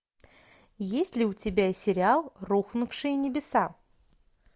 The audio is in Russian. есть ли у тебя сериал рухнувшие небеса